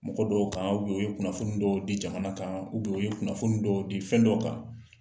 Mɔgɔ dɔw kan u ye kunnafoni dɔw di jamana kan u ye kunnafoni dɔw di fɛn dɔ kan.